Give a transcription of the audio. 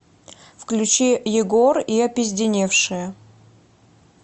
включи егор и опизденевшие